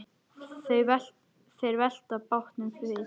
Þeir velta bátnum við.